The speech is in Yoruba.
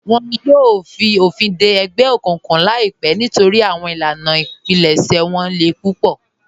Wọn yòò fi ofin dẹ ẹgbẹ okuǹkuǹ laipẹ nítorí awọn ilànà ìpílẹ̀ṣẹ̀ wọn lè púpọ̀.